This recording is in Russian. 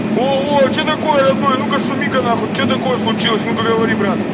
о о о что такое родной а ну-ка шумиха нахуй что такое случилось ну-ка говори брат